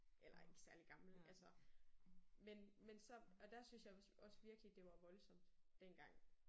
Eller ikke særlig gammel altså. Men men så og der syntes jeg også også virkelig det var voldsomt dengang